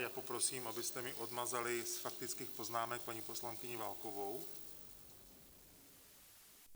Já poprosím, abyste mi odmazali z faktických poznámek paní poslankyni Válkovou.